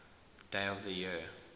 days of the year